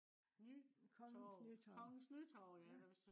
nytorv kongens nytorv ja